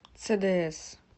цдс